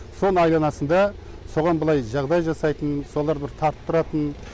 соның айналасында соған былай жағдай жасайтын солар бір тартып тұратын